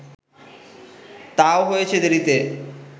তাও হয়েছে দেরিতে